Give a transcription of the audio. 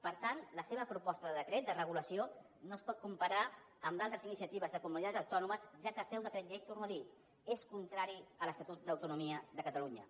per tant la seva proposta de decret de regulació no es pot comparar amb d’altres iniciatives de comunitats autònomes ja que el seu decret llei ho torno a dir és contrari a l’estatut d’autonomia de catalunya